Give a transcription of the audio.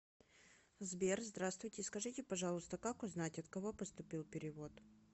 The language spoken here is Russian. сбер здравствуйте скажите пожалуйста как узнать от кого поступил перевод